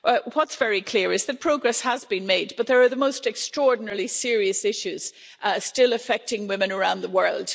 What's very clear is that progress has been made, but there are the most extraordinarily serious issues still affecting women around the world.